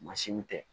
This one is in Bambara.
Mansinw tɛ